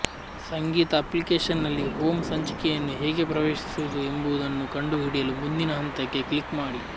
ಸಂಗೀತ ಅಪ್ಲಿಕೇಶನ್ನಲ್ಲಿ ಹೋಮ್ ಹಂಚಿಕೆಯನ್ನು ಹೇಗೆ ಪ್ರವೇಶಿಸುವುದು ಎಂಬುದನ್ನು ಕಂಡುಹಿಡಿಯಲು ಮುಂದಿನ ಹಂತಕ್ಕೆ ಕ್ಲಿಕ್ ಮಾಡಿ